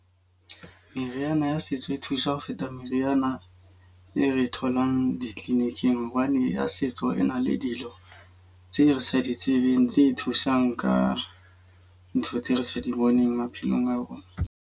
Meriana ya setso e thusa ho feta meriana e re tholang di-clinic-ing. Hobane ya setso e na le dilo tse re sa di tsebeng tse thusang ka ntho tse re sa di boneng maphelong a rona.